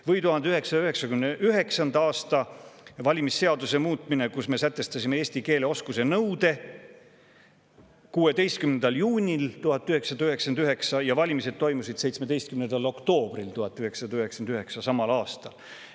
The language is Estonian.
Või 1999. aastal toimunud valimisseaduse muutmine, kui me sätestasime eesti keele oskuse nõude 16. juunil 1999 ja valimised toimusid 17. oktoobril samal aastal.